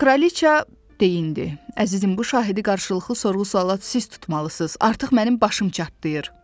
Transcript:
Kraliçə deyindi, əzizim bu şahidi qarşılıqlı sorğu-suala tutmalısınız, artıq mənim başım çatlayır.